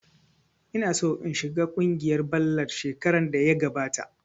Ina so in shiga kungiyar ballad shekarar da ya gabata